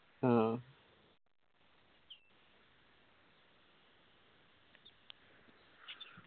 ആ